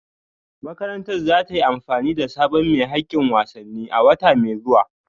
Makarantar za ta yi amfani da sabon mai hakkin wasanni a wata mai zuwa